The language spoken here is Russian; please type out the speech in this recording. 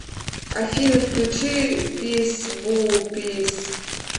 афина включи пис бу пис